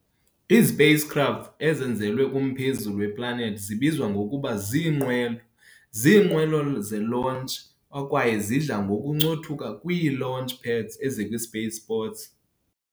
Izi-Spacecraft ezenzelwe kumphezulu we-planethi zibizwa ngokuba ziinqwelo ziinqwelo ze-launch akwaye zidla ngokuncothuka kwii-launch pads ekwi-spaceports.